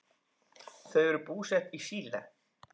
Þau eru búsett í Síle.